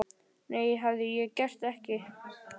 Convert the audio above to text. Það hefði ég ekki gert.